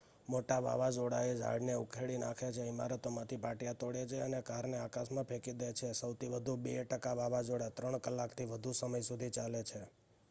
મોટા વાવાઝોડાઓ ઝાડને ઉખેડી નાખે છે ઇમારતોમાંથી પાટિયા તોડે છે અને કારને આકાશમાં ફેંકી દે છે સૌથી વધુ 2 ટકા વાવાઝોડા 3 કલાકથી વધુ સમય સુધી ચાલે છે